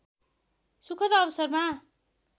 सुखद अवसरमा